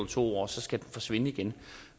to år og så skal den forsvinde igen